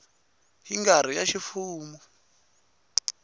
yi nga ri ya ximfumo